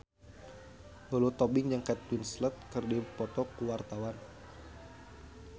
Lulu Tobing jeung Kate Winslet keur dipoto ku wartawan